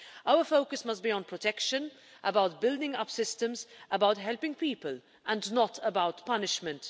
Our focus must be on protection, about building up systems, about helping people and not about punishment.